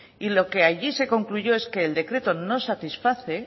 y lo que allí se concluyó es que el decreto no satisface